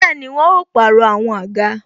Bẹẹni, àwọn ó pàrọ̀ àwọn àga